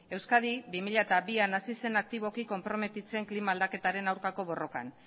euskadi bi mila bian hasi zen aktiboki konprometitzen klima aldaketaren aurkako borrokan